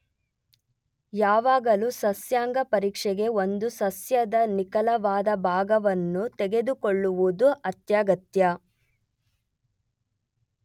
ಯಾವಾಗಲೂ ಸಸ್ಯಾಂಗ ಪರೀಕ್ಷೆಗೆ ಒಂದು ಸಸ್ಯದ ನಿಖರವಾದ ಭಾಗವನ್ನು ತೆಗೆದುಕೊಳ್ಳುವುದು ಅತ್ಯಗತ್ಯ.